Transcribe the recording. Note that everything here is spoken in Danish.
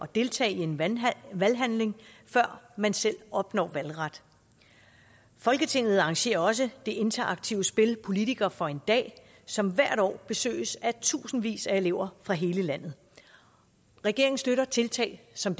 deltage i en valghandling før man selv opnår valgret folketinget arrangerer også det interaktive spil politiker for en dag som hvert år besøges af tusindvis af elever fra hele landet regeringen støtter tiltag som